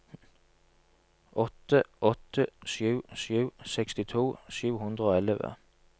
åtte åtte sju sju sekstito sju hundre og elleve